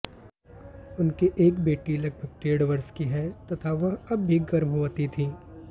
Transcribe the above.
उनके एक बेटी लगभग डेढ़ वर्ष की है तथा वह अब भी गर्भवती थी